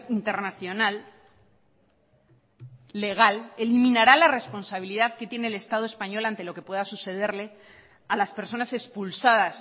internacional legal eliminará la responsabilidad que tiene el estado español ante lo que pueda sucederle a las personas expulsadas